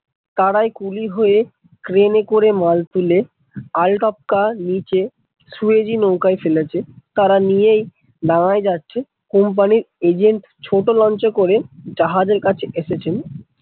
তারাই কুলি হয়ে ক্রেন এ করে মাল তুলে আল টপকা নিচে সুয়েজি নৌকায় ফেলেছে, তারা নিয়েই ডাংগায় যাচ্ছে কোম্পানির এজেন্ট ছোটো লঞ্চ এ করে জাহাজের কাছে এসেছেন।